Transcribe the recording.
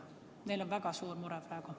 Neil on väga suur mure praegu.